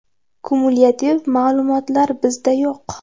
Kumulyativ ma’lumotlar bizda yo‘q.